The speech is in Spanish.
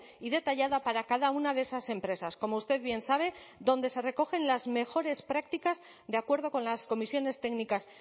y detallada para cada una de esas empresas como usted bien sabe donde se recogen las mejores prácticas de acuerdo con las comisiones técnicas